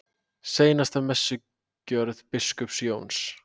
SEINASTA MESSUGJÖRÐ BISKUPS JÓNS